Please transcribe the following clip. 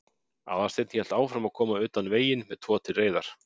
Aðalsteinn hélt áfram að koma utan veginn með tvo til reiðar.